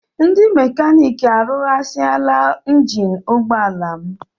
Ndị mekaniiki arụghasịala njini ụgbọala m